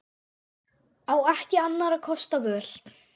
Á ekki annarra kosta völ.